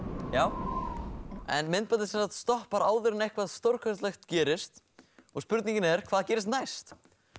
hatari en myndbandið stoppar áður en eitthvað stórkostlegt gerist og spurningin er hvað gerist næst